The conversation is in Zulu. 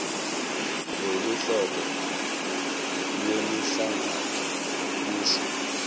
loluhlobo lwemihlangano lusho